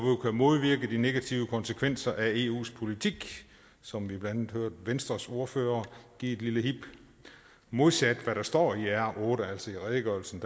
modvirke de negative konsekvenser af eus politik som vi blandt andet hørte venstres ordfører give et lille hib modsat hvad der står i r otte altså i redegørelsen